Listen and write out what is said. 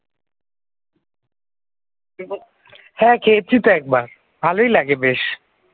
হ্যাঁ, খেয়েছি তো একবার। ভালোই লাগবে বেশ ।